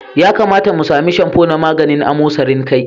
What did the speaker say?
Ya kamata mu sami shamfo na maganin amosarin kai.